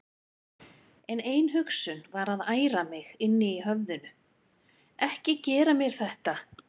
En ein hugsun var að æra mig inni í höfðinu: Ekki gera mér þetta!